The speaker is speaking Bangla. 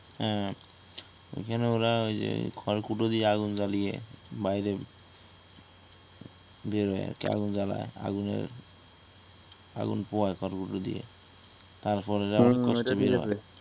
হ্যা অইখানে ওরা খরকুটো দিয়ে আগুন জ্বালিয়ে বাইরে বের হয় আরকি আগুন জ্বালাই আগুনের আগুন পোহায় খরকুটো দিয়ে তারপরে যখন বৃষ্টি হয়